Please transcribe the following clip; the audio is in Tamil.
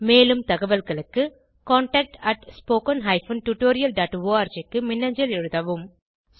மேலும் தகவல்களுக்கு contactspoken tutorialorg க்கு மின்னஞ்சல் எழுதவும்